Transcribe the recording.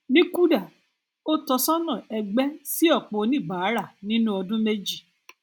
ní kuda ó tọsọnà ẹgbẹ sí ọpọ oníbàárà nínú ọdún méjì